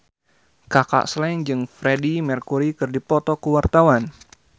Kaka Slank jeung Freedie Mercury keur dipoto ku wartawan